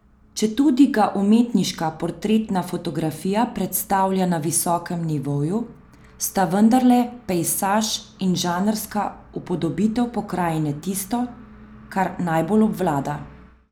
Četudi ga umetniška portretna fotografija predstavlja na visokem nivoju, sta vendarle pejsaž in žanrska upodobitev pokrajine tisto, kar najbolj obvlada.